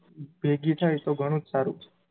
પેઢી થાય તો ઘણું જ સારું,